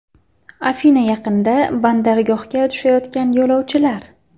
Afina yaqinida bandargohga tushayotgan yo‘lovchilar.